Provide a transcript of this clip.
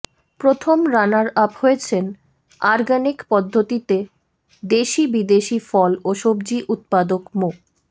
প্রথম runner up হয়েছেন organic পদ্ধতিতে দেশি বিদেশি ফল ও সবজি উৎপাদক মো